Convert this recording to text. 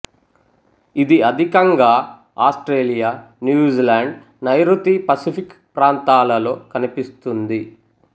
ఇది అధికంగా Australia New Zealand నైఋతి పసిఫిక్ ప్రాంతాలలో కనిపిస్తుంది